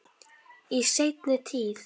Í seinni tíð.